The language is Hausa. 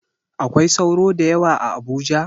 Akwai sauro da yawa a Abuja?